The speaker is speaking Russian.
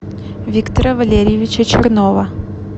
виктора валерьевича чернова